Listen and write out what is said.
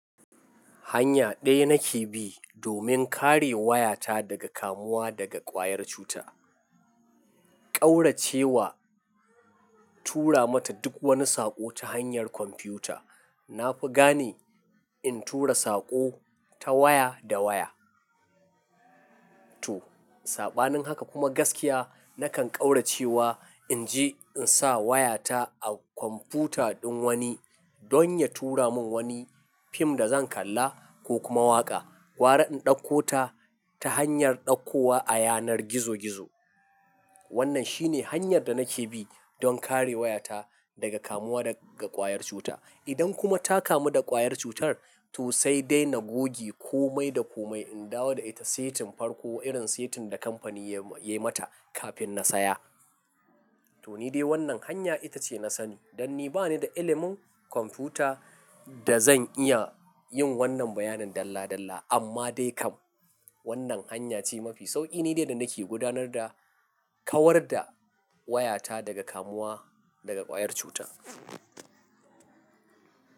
Hanya ɗaya nake bi domin kare wayata daga kamuwa daga ƙwayar cuta. Kaurace wa tura mata duk wani saƙo ta hanyar kwamfuta. Na fi gane in tura saƙo ta waya da waya. To, saɓanin haka kuma gaskiya nakan ƙauracewa in je in sa wayata a kwamfuta ɗin wani don ya tura mun wani fim da zan kalla ko kuma waƙa. Gwara in ɗauko ta ta hanyar ɗauko wa a yanar gizo gizo. Wannan shi ne hanyar da nake bi don kare wayata daga kamuwa daga ƙwayar cuta. Idan kuma ta kamu da ƙwayar cutar, to sai dai na goge komai da komai, in dawo da ita setin farko irin setin da kamfani ya yi mata kafin na saya. To, ni dai wannan hanya ita ce na sani dan ni bani da ilimin kwamfuta da zan iya yin wannan bayanin dalla dalla. Amma dai kam wannan hanya ce mafi sauƙi ni dai da nake gudanar da kawar da wayata daga kamuwa daga ƙwayar cutar.